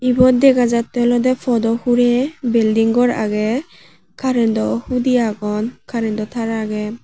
ibot dega jattey olodey podo hurey bilding gor agey karento hudi agon karento tar agey.